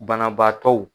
Banabaatɔw